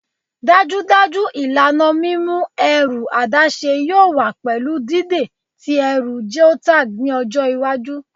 Dajudaju ilana mimu ẹru adaṣe yoo wa pẹlu dide ti ẹru geotagged ni ọjọ iwaju